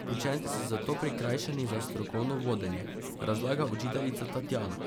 Učenci so zato prikrajšani za strokovno vodenje, razlaga učiteljica Tatjana.